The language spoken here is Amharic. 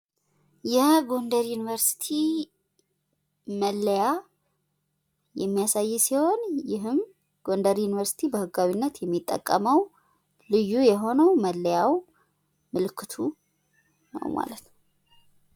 የጎደር ዩኒቨርስቲ መለያ የሚያሳይ ሲሆን ይሄም ጎንደር ዩኒቨርስቲ በህጋዊነት የሚጠቀመው ልዩ የሆነው መለያው ምልክቱ ነው ማለት ነው።